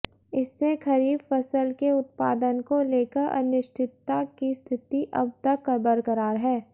इससे खरीफ फसल के उत्पादन को लेकर अनिश्चितता की स्थिति अब तक बरकरार है